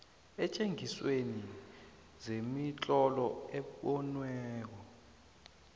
eentjengisweni zemitlolo ebonwako